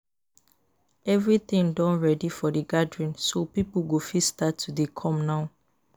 Everything don ready for the gathering so people go fit start to dey come now